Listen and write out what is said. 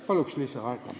Palun lisaaega!